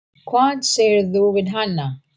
Hvað sagðirðu við hana?